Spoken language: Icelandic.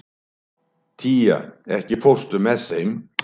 Tía, ekki fórstu með þeim?